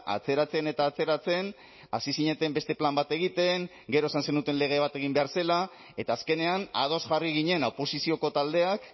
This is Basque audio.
atzeratzen eta atzeratzen hasi zineten beste plan bat egiten gero esan zenuten lege bat egin behar zela eta azkenean ados jarri ginen oposizioko taldeak